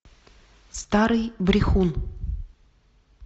старый брехун